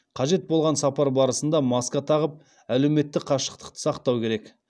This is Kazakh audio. қажет болған сапар барысында маска тағып әлеуметтік қашықтықты сақтау керек